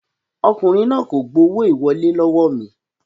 Ọkùnrin náà kò gbowó ìwọlé lọ́wọ́ mi